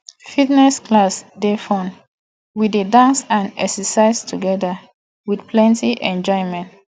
fitness class dey fun we dey dance and exercise together with plenty enjoyment